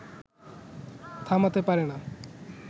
থামাতে পারে না